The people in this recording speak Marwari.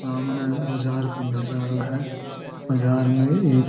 सामने बाजार को नजरो है बाजार में एक --